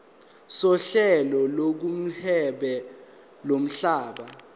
sohlelo lokuhweba lomhlaba